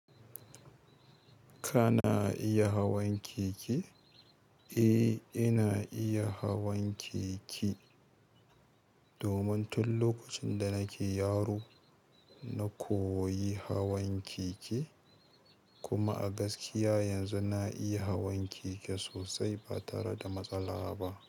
Kana. Iya hawan keke? Eh, ina iya hawan keke. Domin tun lokacin da na ke yaro, na koyi hawan keke. Kuma a gaskiya yanzu na iya hawan keke sosai ba tare da matsala ba.